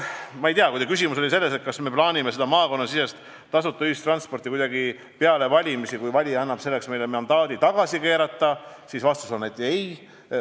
Kui teie küsimus oli selles, kas me plaanime maakonnasisest tasuta ühistransporti kuidagi peale valimisi tagasi keerata, kui valija meile selleks mandaadi annab, siis vastus on ei.